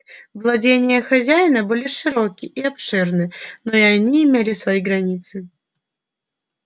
владения хозяина были широки и обширны но и они имели свои границы